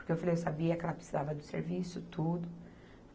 Porque eu falei, eu sabia que ela precisava do serviço, tudo.